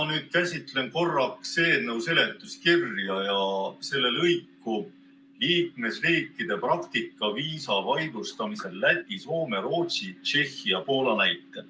Ma nüüd käsitlen korraks eelnõu seletuskirja ja selle lõiku "Liikmesriikide praktika viisa vaidlustamisel Läti, Soome, Rootsi, Tšehhi ja Poola näitel".